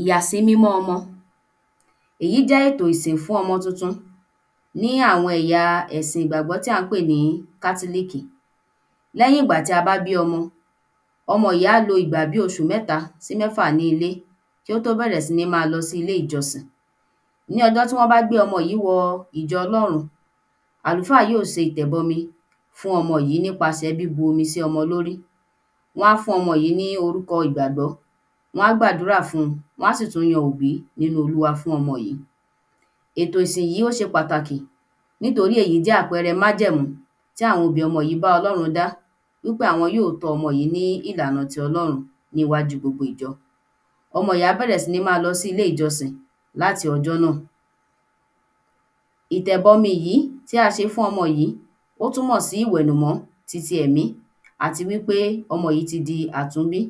Ìyàsímímọ́ ọmọ èyí jẹ́ ètò ìsìn fún ọmọ tuntun ní àwọn ẹ̀ya ẹ̀sìn ìgbàgbọ́ tí à ń pè ní kátílíìkì lẹ́yín ìgbà tí a bá bí ọmọ ọmọ yí á lo ìgbà bí oṣù mẹ́ta sí mẹ́fà ní ilé kí ó tó bẹ̀rẹ̀ sí ní ma lọ sí ilé ìjọsìn ní ọjọ́ tí wọ́n bá gbé ọmọ yìí wọ ìjọ Ọlọ́run àlùfáà yí ó se ìtẹ̀bọmi fún ọmọ yìí nípasẹ̀ bíbu omi sí ọmọ lórí wọ́n á fún ọmọ yìí ní orúkọ ìgbàgbọ́ wọ́n á gbàdúrà fun wọ́n á sì tú yan òbí nínú olúwa fún ọmọ yìí ètò ìsìn yí ó ṣe pàtàkì nítorí èyí jẹ́ àpẹẹrẹ májẹ̀mú tí àwọn òbí ọmọ yí bá Ọlọ́run dá wí pé àwọn yí ọ́ tọ́ ọmọ yìí ní ìlànà ti Ọlọ́run ní íwájú gbogbo ìjọ ọmọ yí á bẹ́rẹ́ sí ní ma lọ sí ilé ìjọsìn láti ọjọ́ náà ìtẹ̀bomi yìí tí a ṣe fún ọmọ yìí ó túmọ̀ sí ìwẹ̀nùmọ́ ti ti ẹ̀mí àti wí pé ọmọ yìí ti di àtúnbí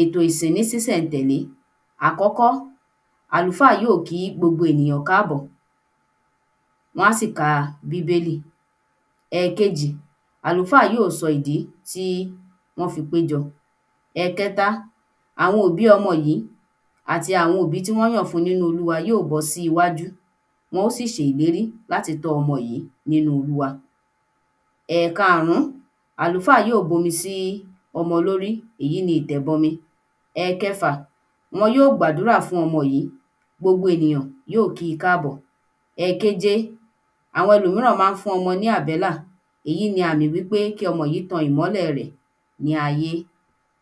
ètò ìsìn ní sísẹ̀-n-tèlé àkọ́kọ́ àlùfáà yí ò kí gbogbo ènìyàn káàbọ̀ wọ́n sì ka bíbélì ẹ̀kejì àlùfáà yí ó sọ ìdí tí wọ́n fi péjọ̀ ẹ̀kẹta àwọn ọ̀bí ọmọ yìí àti àwọn ọ̀bí tí wọ́n yàn fún nínú olúwa yí ó bọ́ síwájú wọ́n ó sì ṣe ìlérí láti tọ́ ọmọ yìí nínú olúwa ẹ̀karùn-ún àlùfáà yí ò bomi sí omọ lórí ìyí ni ìtẹ̀bọmi ẹ̀kẹfà wọn yó gbàúrà fún ọmọ yìí gbogbo ènìyàn yóò ki káàbọ̀ ẹ̀keje àwọn elòmíràn má ń fún ọmọ ní àbẹ́là èyí ni àmì wí pé kí ọmọ yìí tan ìmọ́lẹ̀ rẹ̀ ní ayé